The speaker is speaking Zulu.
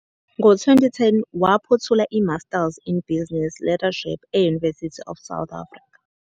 Ngo-2010 waphothula iMasters in Business Leadership e- University of South Africa.